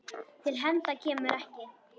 Til hefnda kemur ekki!